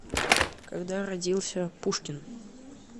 когда родился пушкин